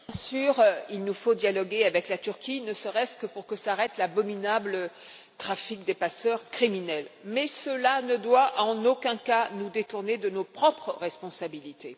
Madame la Présidente, bien sûr, il nous faut dialoguer avec la Turquie, ne serait ce que pour que s'arrête l'abominable trafic de passeurs criminels, mais cela ne doit en aucun cas nous détourner de nos propres responsabilités.